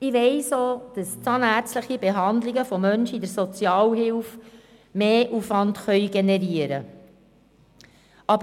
Ich weiss auch, dass zahnärztliche Behandlungen von Menschen in der Sozialhilfe mehr Aufwand generieren können.